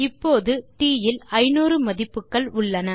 இப்போது ட் இல் 500 மதிப்புகள் உள்ளன